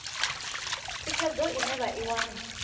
thikhedzo ine vha i wana